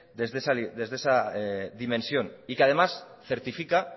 desde esa dimensión y que además certifica